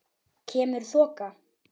Kemur þoka.